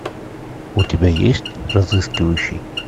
у тебя есть разыскивающий